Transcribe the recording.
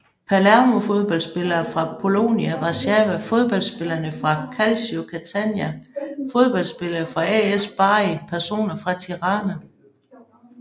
Palermo Fodboldspillere fra Polonia Warszawa Fodboldspillere fra Calcio Catania Fodboldspillere fra AS Bari Personer fra Tirana